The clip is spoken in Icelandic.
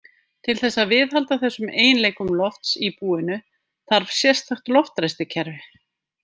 Til þess að viðhalda þessum eiginleikum lofts í búinu þarf sérstakt loftræstikerfi.